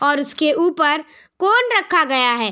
और उसके ऊपर कोन रखा गया है।